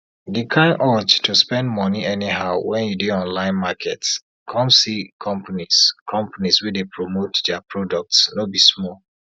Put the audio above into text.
di kind urge to spend money anyhow wen you dey online market come see companies companies wey dey promote dia products no be small